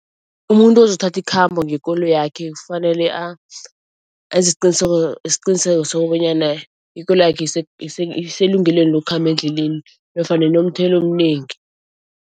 Umuntu ozothatha ikhamba ngekoloyakhe kufanele enze isiqiniseko sokobanyana ikoloyakhe iselungelweni lokukhamba endleleni nofana inomthelo omnengi.